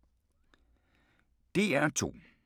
DR2